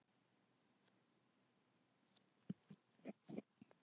Á köldum klaka